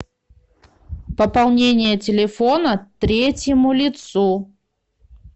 пополнение телефона третьему лицу